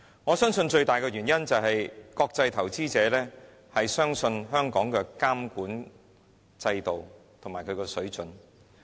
我相信最大的原因，是國際投資者相信香港的監管制度和水準。